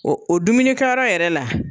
O o dumuni kɛyɔrɔ yɛrɛ la